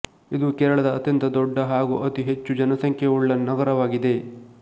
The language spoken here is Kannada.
ಇದು ಕೇರಳದ ಅತ್ಯಂತ ದೊಡ್ಡ ಹಾಗು ಅತಿ ಹೆಚ್ಚು ಜನಸಂಖ್ಯೆಯುಳ್ಳ ನಗರವಾಗಿದೆ